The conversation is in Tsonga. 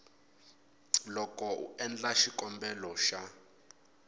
loko u endla xikombelo xa